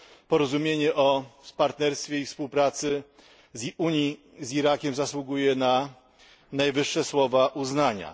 porozumienie o partnerstwie i współpracy Unii z Irakiem zasługuje na słowa najwyższego uznania.